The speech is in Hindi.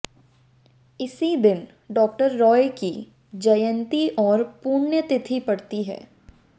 इसी दिन डॉक्टर रॉय की जयंती और पुण्यतिथि पड़ती है